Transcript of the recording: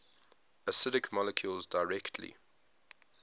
acidic molecules directly